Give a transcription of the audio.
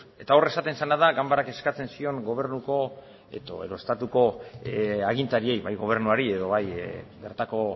hor esaten zena da ganbarak eskatzen zion estatuko agintariei bai gobernuari edo bai bertako